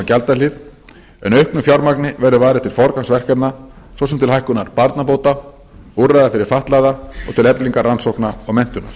gjaldahlið en auknu fjármagni verður varið til forgangsverkefna svo sem til hækkunar barnabóta úrræða fyrir fatlaða og til eflingar rannsókna og menntunar